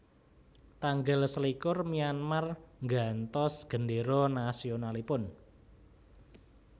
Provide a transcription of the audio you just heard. Tanggal selikur Myanmar nggantos gendéra nasionalipun